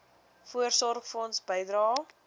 voorsorgfonds bydrae